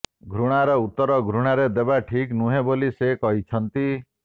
ଘୃଣାର ଉତ୍ତର ଘୃଣାରେ ଦେବା ଠିକ୍ ନୁହେଁ ବୋଲି ସେ କହିଛନ୍ତି